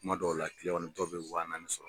Kuma dɔw la kiliyanw dɔw bɛ waa naani sɔrɔ.